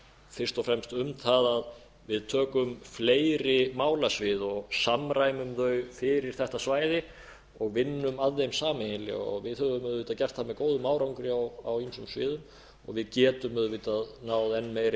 fyrst og fremst um það að við tökum fleiri málasvið og samræmum þau fyrir þetta svæði og vinnum að þeim sameiginlega við höfum auðvitað gert það með góðum árangri á ýmsum sviðum og við getum auðvitað náð enn meiri